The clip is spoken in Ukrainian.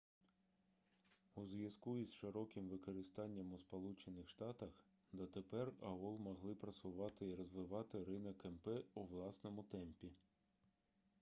у зв'язку із широким використанням у сполучених штатах дотепер аол могли просувати і розвивати ринок мп у власному темпі